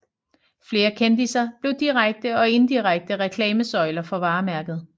Flere kendisser blev direkte og indirekte reklamesøjler for varemærket